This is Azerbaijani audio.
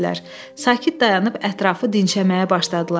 Sakit dayanıb ətrafı dinşəməyə başladılar.